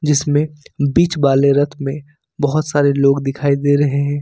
इसमें बीच वाले रथ में बहोत सारे लोग दिखाई दे रहे हैं।